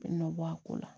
Bɛ nɔ bɔ a ko la